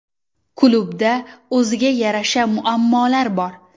Klubda o‘ziga yarasha muammolar bor.